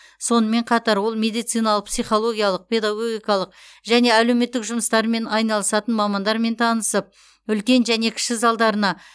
сонымен қатар ол медициналық психологиялық педагогикалық және әлеуметтік жұмыстармен айналысатын мамандармен танысып үлкен және кіші залдарына